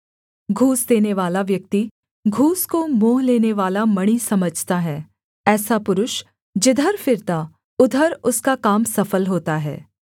घूस देनेवाला व्यक्ति घूस को मोह लेनेवाला मणि समझता है ऐसा पुरुष जिधर फिरता उधर उसका काम सफल होता है